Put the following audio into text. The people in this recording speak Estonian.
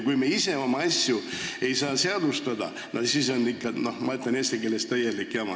Kui me ei saa säärast keeldu seadustada, siis on ikka, ma ütlen eesti keeles, täielik jama.